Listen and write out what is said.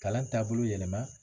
Kalan taabolo yɛlɛma